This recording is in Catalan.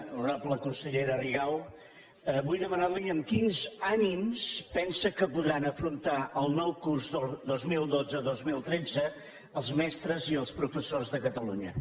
honorable consellera rigau vull demanar li amb quins ànims pensa que podran afrontar el nou curs dos mil dotze dos mil tretze els mestres i els professors de catalunya